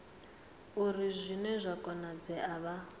uri hune zwa konadzea vha